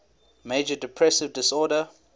major depressive disorder